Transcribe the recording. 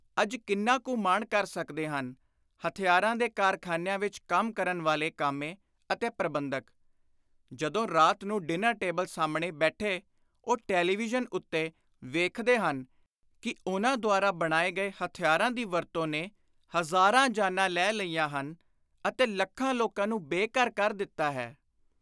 ਅੱਜ ਕਿੰਨਾ ਕੁ ਮਾਣ ਕਰ ਸਕਦੇ ਹਨ ਹਥਿਆਰਾਂ ਦੇ ਕਾਰਖ਼ਾਨਿਆਂ ਵਿਚ ਕੰਮ ਕਰਨ ਵਾਲੇ ਕਾਮੇ ਅਤੇ ਪ੍ਰਬੰਧਕ, ਜਦੋਂ ਰਾਤ ਨੂੰ ਡਿਨਰ ਟੇਬਲ ਸਾਹਮਣੇ ਬੈਠੇ ਉਹ ਟੈਲੀਵਿਯਨ ਉੱਤੇ ਵੇਖਦੇ ਹਨ ਕਿ ਉਨ੍ਹਾਂ ਦੁਆਰਾ ਬਣਾਏ ਗਏ ਹਥਿਆਰਾਂ ਦੀ ਵਰਤੋਂ ਨੇ ਹਜ਼ਾਰਾਂ ਜਾਨਾਂ ਲੈ ਲਈਆਂ ਹਨ ਅਤੇ ਲੱਖਾਂ ਲੋਕਾਂ ਨੂੰ ਬੇ-ਘਰ ਕਰ ਦਿੱਤਾ ਹੈ।